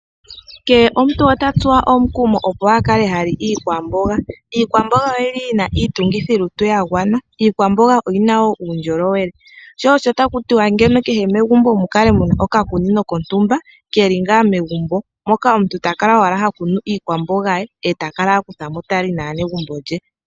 Kehe omuntu ota tsuwa omukumo opo akale ha li iikwamboga. Iikwamboga oyili yina iitungithi yolutu yagwana. Iikwamboga oyina woo uundjolowele. Sho osho taku tiwa andola kehe megumbo mukale muna oka kunino kontumba keli ngaa megumbo moka omuntu takala owala ha kunu mo iikwamboga ye eta kala hakuthamo tali naanegumbo lye .